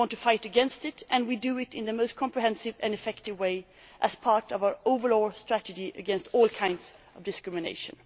We want to combat it and we do so in the most comprehensive and effective way as part of our overall strategy to wipe out all kinds of discrimination.